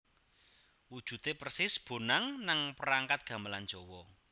Wujude persis bonang nang perangkat gamelan Jawa